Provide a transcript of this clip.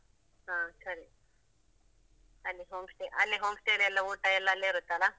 ಹಾ ಸರಿ ಅಲ್ಲಿ home stay ಅಲ್ಲಿ home stay ದಲ್ಲಿ ಊಟ ಎಲ್ಲಾ ಅಲ್ಲೇ ಇರುತ್ತಲಾ?